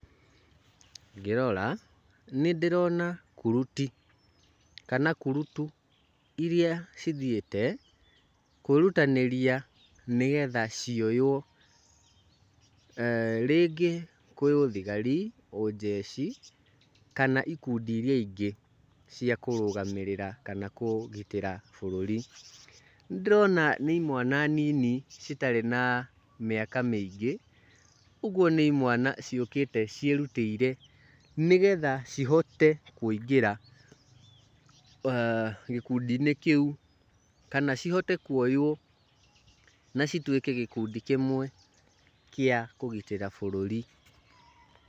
Ngĩrora nĩ ndĩrona kuruti kana kurutu iria cithiĩte kwĩrutanĩria nĩgetha cioywo, rĩngĩ kwĩ ũthigari, ũnjeci, kana ikundi iria ingĩ cia kũrũgamĩrĩra kanakũgitĩra bũrũri. Nĩ ndĩrona nĩ imwana nini citarĩ na mĩaka mĩingĩ, ũguo nĩ imwana ciũkĩte ciĩrutĩire nĩgetha cihote kũingĩra gĩkundi-inĩ kĩu, kana cihote kuoywo na cituĩke gĩkundi kĩmwe kĩa kũgitĩra bũrũri.